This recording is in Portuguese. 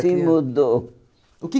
Sim, mudou. O que